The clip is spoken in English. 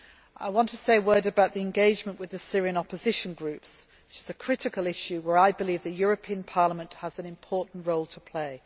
I want to say a word about engagement with Syrian opposition groups, which is a critical issue in which I believe the European Parliament has an important role to play.